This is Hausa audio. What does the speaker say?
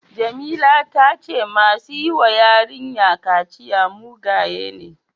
Jamila ta ce masu yi wa yarinya kaciya mugaye ne.